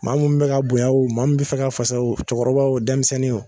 Maa mun be ka bonya wo maa mun te fɛ ka fasa wo cɔkɔrɔba wo denmisɛnni wo